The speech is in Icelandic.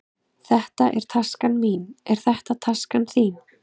Þetta er taskan mín. Er þetta taskan þín?